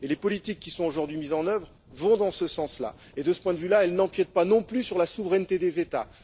Les politiques qui sont aujourd'hui mises en œuvre vont dans ce sens et, de ce point de vue, elles n'empiètent pas non plus sur la souveraineté des États.